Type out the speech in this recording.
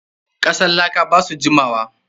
Kasan laka ba su jimawa.